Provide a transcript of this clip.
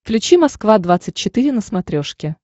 включи москва двадцать четыре на смотрешке